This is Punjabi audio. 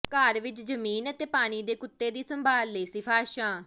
ਘਰ ਵਿਚ ਜ਼ਮੀਨ ਅਤੇ ਪਾਣੀ ਦੇ ਕੁੱਤੇ ਦੀ ਸੰਭਾਲ ਲਈ ਸਿਫਾਰਸ਼ਾਂ